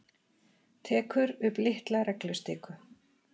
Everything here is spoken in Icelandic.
Tekur upp litla reglustiku.